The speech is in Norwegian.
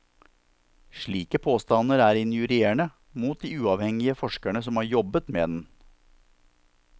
Slike påstander er injurierende mot de uavhengige forskerne som har jobbet med den.